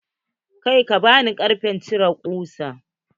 Kai, bani karfen cire kusa.